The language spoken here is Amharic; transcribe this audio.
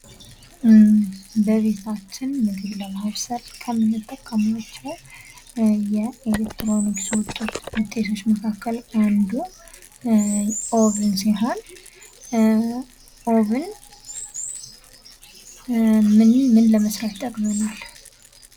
በቤታችን ምግብ ለማብሰል ከምንጠቀማቸው የኤሌክትሮኒክስ ውጤቶች መካከል አንዱ ኦቭን ሲሆን፤ ኦቭን ምን ምን ለመስራት ጠቅመናል?